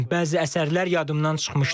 Bəzi əsərlər yadımdan çıxmışdı.